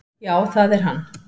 """Já, það er hann."""